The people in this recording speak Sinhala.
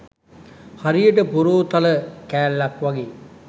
හරියට පොරෝ තල කෑල්ලක් වගේ.